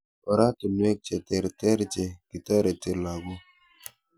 Ortinwek che terter che kitoretei lagok.